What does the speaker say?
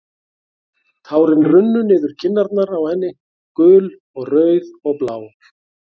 Tárin runnu niður kinnarnar á henni, gul og rauð og blá.